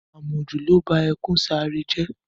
Àmọ̀jù ló ba ẹkùn sàáré jẹ́.